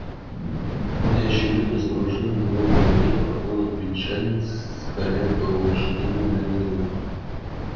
гудящий вихрь закружил у него в голове проплыл англичанин скаля по-лошадиному длинные зубы